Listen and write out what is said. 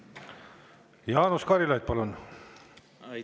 Jaanus Karilaid, palun!